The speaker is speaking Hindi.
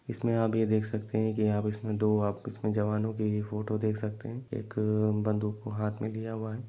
इसमे अभी देख सकते है उसमे दो जवानो की फोटो देख सकते है एक बंधूक को हाथमे लिया हुआ है।